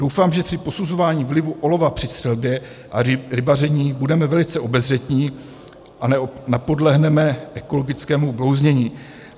Doufám, že při posuzování vlivu olova při střelbě a rybaření budeme velice obezřetní a nepodlehneme ekologickému blouznění.